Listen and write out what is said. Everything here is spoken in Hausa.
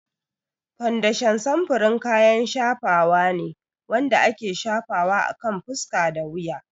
Fondashan samfurin kayan shafawa ne wanda ake shafawa akan fuska da wuya.